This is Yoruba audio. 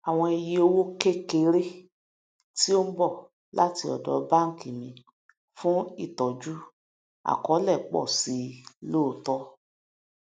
àwọn ìye owó kékeré tí ó ń bọ láti ọdọ banki mi fún ìtọju àkọọlẹ pọ sí i lóòótọ